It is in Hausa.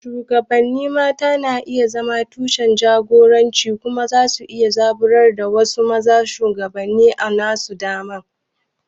Shugabannin mata na iya zama tushen jagoranci kuma za su iya zaburar da wasu su zama shugabanni a nasu dama.